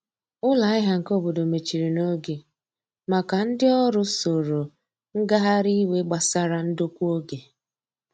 Ụlọ ahia nke obodo mechiri n'oge maka ndi ọrụ soro ngahari iwe gbasara ndokwa oge.